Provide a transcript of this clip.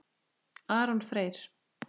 Aron Freyr.